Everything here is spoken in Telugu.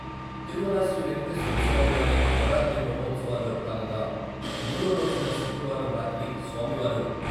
తిరుమల శ్రీ వెంకటేశ్వర స్వామి వారి నవరాత్రి బ్రహ్మోత్సవాల్లో భాగంగా మూడో రోజైన శుక్రవారం రాత్రి స్వామి వారు..